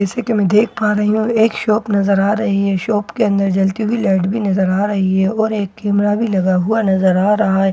जैसे कि मैं देख पा रही हूं यहां एक शॉप नजर आ रही है शॉप के अंदर जलती हुई लाइट भी नजर आ रही है और एक कैमरा लगा हुआ नजर आ रहा है --